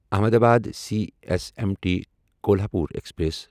Ahmedabad C S M T Kolhapur express